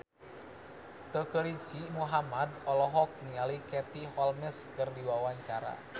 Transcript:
Teuku Rizky Muhammad olohok ningali Katie Holmes keur diwawancara